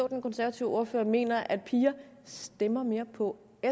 at den konservative ordfører mener at piger stemmer mere på